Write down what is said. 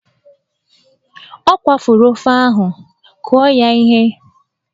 Ọ kwafuru ofe ahụ, kụọ ya ihe!